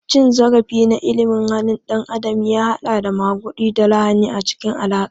Cin zarafi na ilimin halin ɗan adam ya haɗa da maguɗi da lahani a cikin alaƙa.